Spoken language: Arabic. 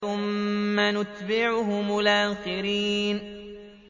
ثُمَّ نُتْبِعُهُمُ الْآخِرِينَ